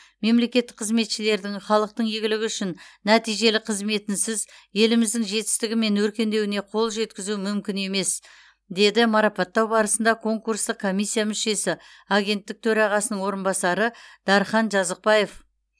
мемлекеттік қызметшілердің халықтың игілігі үшін нәтижелі қызметінсіз еліміздің жетістігі мен өркендеуіне қол жеткізу мүмкін емес деді марапаттау барысында конкурстық комиссия мүшесі агенттік төрағасының орынбасары дархан жазықбаев